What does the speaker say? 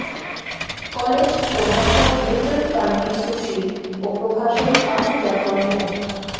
college প্রভাষক লিটন কান্তি সুশীল ও প্রভাষক আবু জাফর মো